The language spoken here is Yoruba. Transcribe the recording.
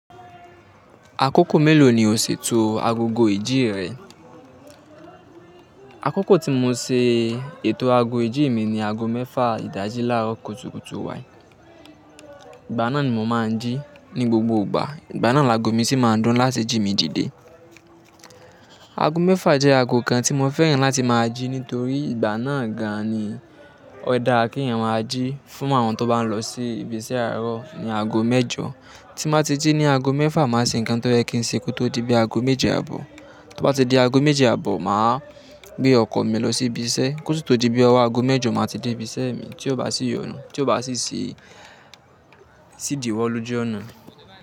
Àkókò mélòó ni o ṣètò agogo ìjí rẹ? Àkókò tí mo ṣe ètò ago ìjí mi ni ago mẹ́fà ìdájí láàárọ̀ kùtùkùtù wáì. Ìgbà náà ni mo máa ń jí ní gbogbo ìgbà. Ìgbà náà ni ago mi sì máa ń dún láti jí mi dìde. Ago mẹ́fà jẹ́ ago kan tí mo fẹ́ràn láti máa jí nítorí ìgbà náà gan-an ni ó dára kí èèyàn má jí. Fún àwọn tó bá lọ sí ibi iṣẹ́ àárọ̀ ni ago mẹ́jọ. Tí mo bá ti jí ní ago mẹ́fà, màá ṣe nǹkan tó yẹ́ kìńṣẹ́ kí ó tó di bí ago méje àbọ̀. Tó bá ti di ago méjì àbọ̀, màá gbé ọkọ̀ mi lọ sí ibi iṣẹ́ kí ó sì tó di bí ọwọ́ ago mẹ́jọ, màá ti dé ibi iṣẹ́ mi tí ó bá sì yọ̀nú, tí ó bá sì ṣídì wọ́ lójú ọ̀nà.